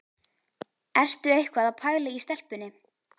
Ertu eitthvað að pæla í stelpunni?